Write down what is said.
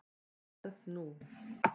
Verð nú.